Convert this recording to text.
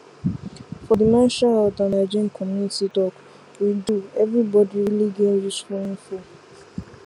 for the menstrual health and hygiene community talk we do everybody really gain useful info